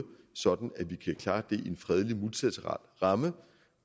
så vi kan klare det i en fredelig multilateral ramme